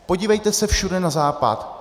Podívejte se všude na západ.